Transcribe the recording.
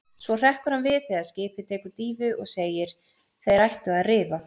Svo hrekkur hann við þegar skipið tekur dýfu og segir: Þeir ættu að rifa.